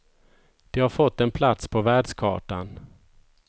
De har fått en plats på världskartan.